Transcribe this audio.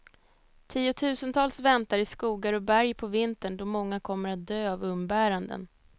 Tiotusentals väntar i skogar och berg på vintern, då många kommer att dö av umbäranden.